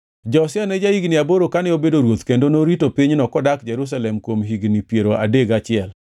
Josia ne ja-higni aboro kane obedo ruoth kendo norito pinyno kodak Jerusalem kuom higni piero adek gachiel.